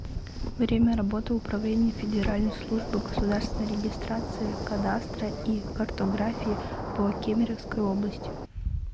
время работы управление федеральной службы государственной регистрации кадастра и картографии по кемеровской области